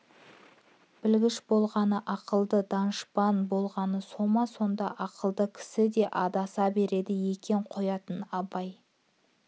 білгіш болғаны ақылды данышпан болғаны со ма сондай ақылды кісі де адаса береді екен қоятын абай